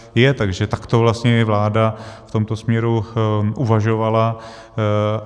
Takže takto vlastně i vláda v tomto směru uvažovala.